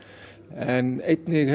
en einnig